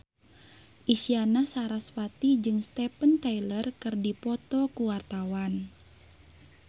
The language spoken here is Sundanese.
Isyana Sarasvati jeung Steven Tyler keur dipoto ku wartawan